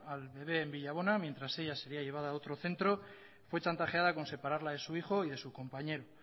al bebe en villabona mientras ella sería llevada a otro centro fue chantajeada con separarla de su hijo y de su compañero